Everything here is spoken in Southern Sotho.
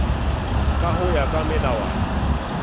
ka ho ya ka melawana